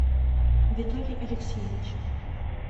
виталий алексеевич